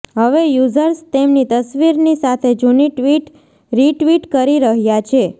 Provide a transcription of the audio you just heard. હવે યુઝર્સ તેમની તસવીરની સાથે જૂની ટ્વિટ રિટ્વીટ કરી રહ્યાં છે